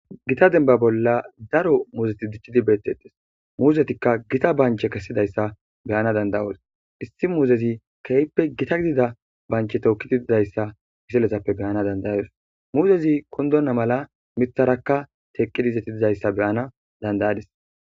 Gita demba bolla daro muzeti diccidi beetetees. Ha muuzetika gita banche kesidaysa beyanas danda'oos. He muzetappe issi issi muuzeti keehippe gita banche tookidi dizaysa beyanas danda'oos. Mulezika kundonta mala miththara izeti teqidi wothidaysa beyanas danda'adis.